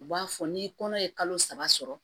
U b'a fɔ ni kɔnɔ ye kalo saba sɔrɔ